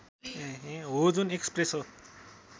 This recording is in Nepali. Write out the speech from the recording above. हो जुन एस्प्रेसो